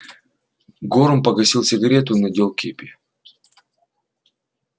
горм погасил сигарету и надел кепи